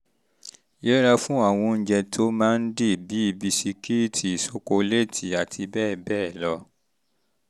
yẹra fún àwọn oúnjẹ tí ó máa ń dì ń dì bíi bisikíìtì ṣokoléètì àti bẹ́ẹ̀ bẹ́ẹ̀ lọ